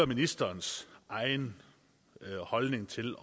ministerens egen holdning til